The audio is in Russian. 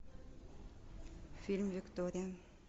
фильм виктория